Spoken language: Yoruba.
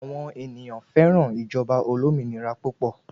Àwọn ènìyàn féràn ìjọba olómìnira púpọ̀